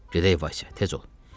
Gedək Vasya, tez ol.